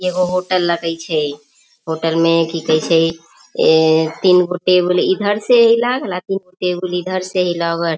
एगो होटल लगए छे होटल में की कइसे ए तीनगो टेबल इधर से टेबल इधर से लगल।